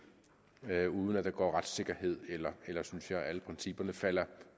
uden at retssikkerheden eller alle principperne falder